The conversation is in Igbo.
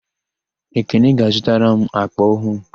Ekene ga-azụtara m àkpà ọhụụ.